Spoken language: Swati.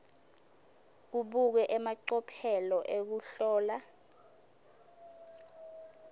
kubukwe emacophelo ekuhlola